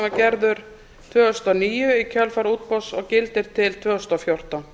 gerður tvö þúsund og níu í kjölfar útboðs og gildir til tvö þúsund og fjórtán